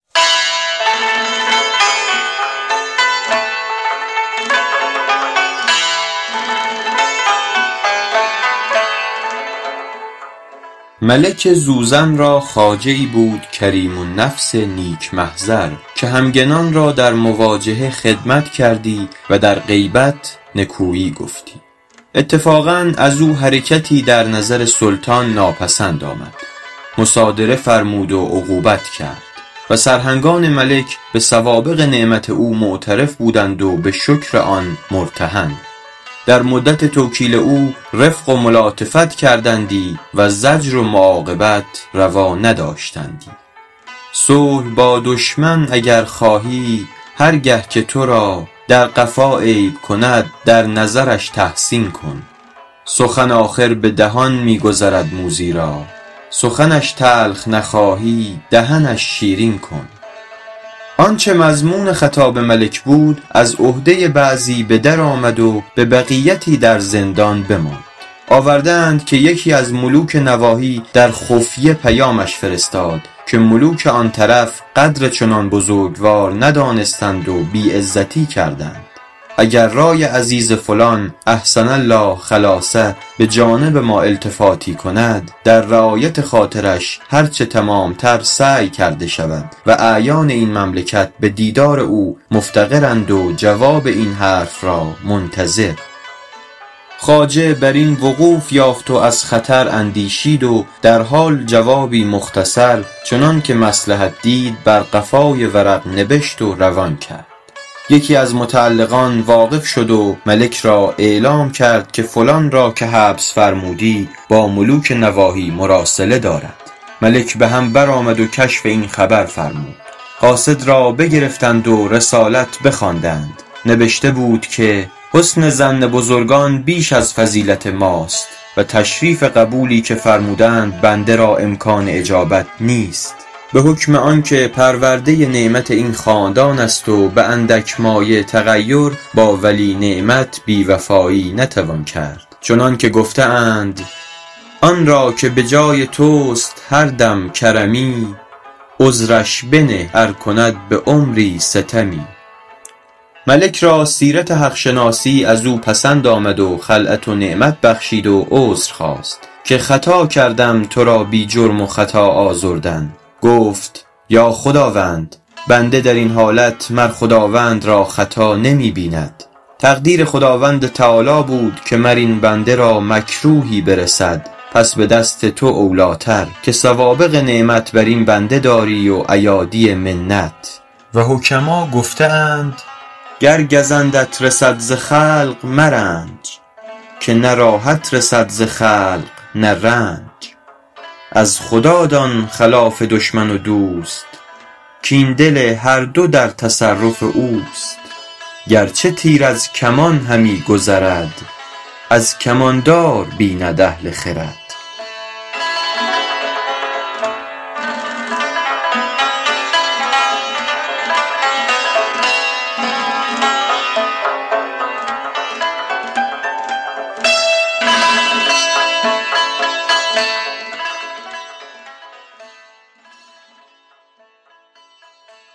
ملک زوزن را خواجه ای بود کریم النفس نیک محضر که همگنان را در مواجهه خدمت کردی و در غیبت نکویی گفتی اتفاقا از او حرکتی در نظر سلطان ناپسند آمد مصادره فرمود و عقوبت کرد و سرهنگان ملک به سوابق نعمت او معترف بودند و به شکر آن مرتهن در مدت توکیل او رفق و ملاطفت کردندی و زجر و معاقبت روا نداشتندی صلح با دشمن اگر خواهی هر گه که تو را در قفا عیب کند در نظرش تحسین کن سخن آخر به دهان می گذرد موذی را سخنش تلخ نخواهی دهنش شیرین کن آنچه مضمون خطاب ملک بود از عهده بعضی به در آمد و به بقیتی در زندان بماند آورده اند که یکی از ملوک نواحی در خفیه پیامش فرستاد که ملوک آن طرف قدر چنان بزرگوار ندانستند و بی عزتی کردند اگر رای عزیز فلان احسن الله خلاصه به جانب ما التفاتی کند در رعایت خاطرش هر چه تمام تر سعی کرده شود و اعیان این مملکت به دیدار او مفتقرند و جواب این حرف را منتظر خواجه بر این وقوف یافت و از خطر اندیشید و در حال جوابی مختصر چنان که مصلحت دید بر قفای ورق نبشت و روان کرد یکی از متعلقان واقف شد و ملک را اعلام کرد که فلان را که حبس فرمودی با ملوک نواحی مراسله دارد ملک به هم برآمد و کشف این خبر فرمود قاصد را بگرفتند و رسالت بخواندند نبشته بود که حسن ظن بزرگان بیش از فضیلت ماست و تشریف قبولی که فرمودند بنده را امکان اجابت نیست به حکم آن که پرورده نعمت این خاندان است و به اندک مایه تغیر با ولی نعمت بی وفایی نتوان کرد چنان که گفته اند آن را که به جای توست هر دم کرمی عذرش بنه ار کند به عمری ستمی ملک را سیرت حق شناسی از او پسند آمد و خلعت و نعمت بخشید و عذر خواست که خطا کردم تو را بی جرم و خطا آزردن گفت ای خداوند بنده در این حالت مر خداوند را خطا نمی بیند تقدیر خداوند تعالیٰ بود که مر این بنده را مکروهی برسد پس به دست تو اولی ٰتر که سوابق نعمت بر این بنده داری و ایادی منت و حکما گفته اند گر گزندت رسد ز خلق مرنج که نه راحت رسد ز خلق نه رنج از خدا دان خلاف دشمن و دوست کاین دل هر دو در تصرف اوست گرچه تیر از کمان همی گذرد از کمان دار بیند اهل خرد